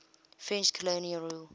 french colonial rule